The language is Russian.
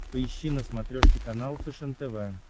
поищи на смотрешке канал фэшен тв